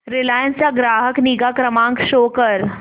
Reliance चा ग्राहक निगा क्रमांक शो कर